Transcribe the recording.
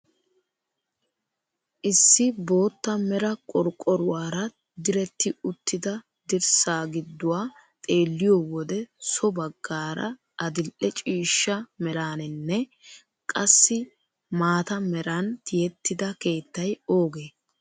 Issi bootta mera qorqqoruwaara diretti uttida dirssa gidduwaa xeelliyoo wode so baggaara adil'e ciishsha meraninne qassi maata meran tiyettida keettay oogee?